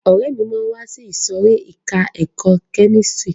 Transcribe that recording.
Ọ̀rẹ́ mi máa wá sí ìsòrí ẹka ẹ̀kọ́ kẹ́místrì.